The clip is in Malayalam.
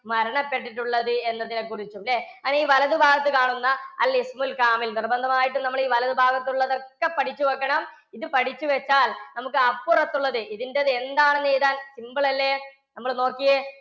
മരണപ്പെട്ടിട്ടുള്ളത് എന്നതിനെക്കുറിച്ചും അല്ലേ? അങ്ങനെ ഈ വലതുഭാഗത്ത് കാണുന്ന നിർബന്ധം ആയിട്ടും നമ്മളീ വലതുഭാഗത്ത് ഉള്ളത് ഒക്കെ പഠിച്ചു വയ്ക്കണം. ഇത് പഠിച്ചു വെച്ചാൽ നമുക്ക് അപ്പുറത്തുള്ളത് ഇതിന്റത് എന്താണെന്ന് എഴുതാൻ simple അല്ലേ നമ്മൾ നോക്കിയേ.